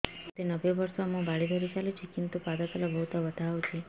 ମୋତେ ନବେ ବର୍ଷ ମୁ ବାଡ଼ି ଧରି ଚାଲୁଚି କିନ୍ତୁ ପାଦ ତଳ ବହୁତ ବଥା ହଉଛି